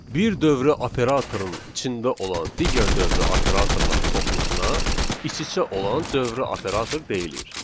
Bir dövrə operatorun içində olan digər dövrə operatorlar toplusuna iç-içə olan dövrə operator deyilir.